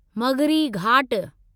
मग़िरी घाट